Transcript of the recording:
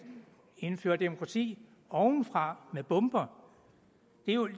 indføre demokrati ovenfra med bomber